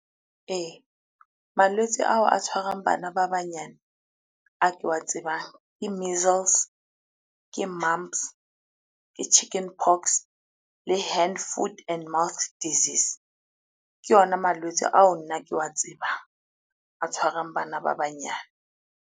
Ee, malwetse ao a tshwarang bana ba banyane, a ke wa tsebang ke measles, ke mumps, ke chicken pox le hand, foot and mouth disease. Ke ona malwetse ao nna ke wa tsebang, a tshwarang bana ba banyane.